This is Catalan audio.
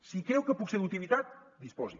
si creu que puc ser d’utilitat disposi